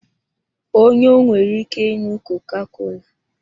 Onye ọ nwere ike ịnụ koka-kola